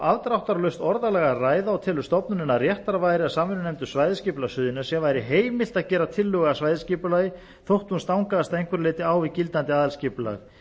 afdráttarlaust orðalag að hvað og telur stofnunin að réttara væri að samvinnunefnd um svæðisskipulag suðurnesja væri heimilt að gera tillögu að svæðisskipulagi þótt hún stangaðist að einhverju leyti á við gildandi aðalskipulag